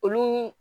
Olu